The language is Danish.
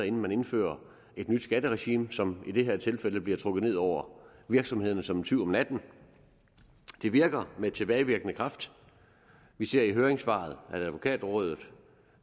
inden man indfører et nyt skatteregime som i det her tilfælde bliver trukket ned over virksomhederne kommer som en tyv om natten det virker med tilbagevirkende kraft vi ser i høringssvaret fra advokatrådet